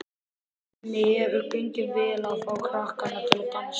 Henni hefur gengið vel að fá krakkana til að dansa.